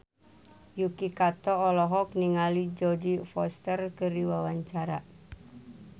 Yuki Kato olohok ningali Jodie Foster keur diwawancara